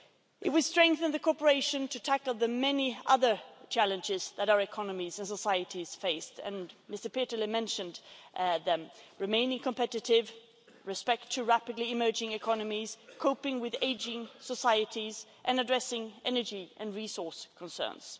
It will strengthen our cooperation in tackling the many other challenges that our economies and societies face, and Mr Peterle mentioned them remaining competitive, respecting rapidly emerging economies, coping with ageing societies and addressing energy and resource concerns.